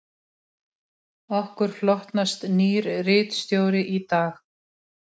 Okkur hlotnast nýr ritstjóri í dag